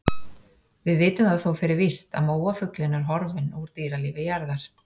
Við vitum það þó fyrir víst að móafuglinn er horfinn úr dýralífi jarðar.